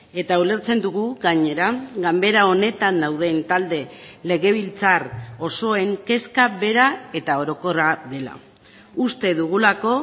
eta ulertzen dugu gainera ganbera honetan dauden talde legebiltzar osoen kezka bera eta orokorra dela uste dugulako